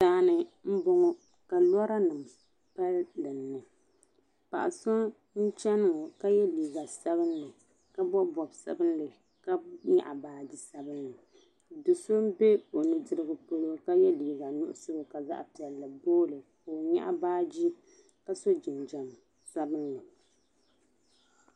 Daani n bɔŋɔ ka lɔranim pali dini, paɣa so n chani ŋɔ k a ye liiga sabinli, ka bɔbi bɔb sabinli, ka nyɛɣi baaji sabinli do so ɔ nudirigu pɔlɔ ka ye liiga muɣisigu ka zaɣi piɛli boo li ka ɔ nyaɣi baaji kaso jinjam sabinli